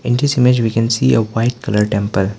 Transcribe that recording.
in this image we can see a white colour temple.